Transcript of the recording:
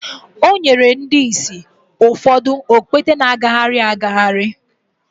o nyere ndị ìsì ụfọdụ okpete na-agagharị agagharị